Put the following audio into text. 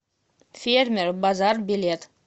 фермер базар билет